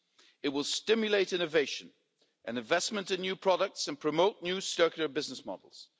It will stimulate innovation and investment in new products and promote new circular business models.